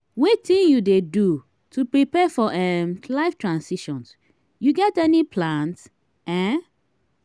wetin you dey do to prepare for um life transitions you get any plans? um